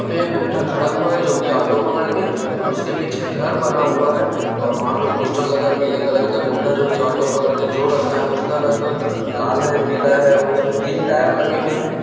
यहाँ पे एक बुड्ढा खड़ा हुआ है जो की ऑटो पकड़ के और उसके पीछे घर बना हुआ है और वहाँ पे पोस्टर लगा हुआ है पीले कलर बुड्ढा जो की ऑटो पकड़ के जो रखा है उसका रंग लाल है पीला है और उसमें तीन टायर लगे हुए है।